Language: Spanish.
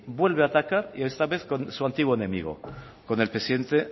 vuelve a atacar y esta vez con su antiguo enemigo con el presidente